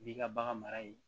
N'i ka bagan mara ye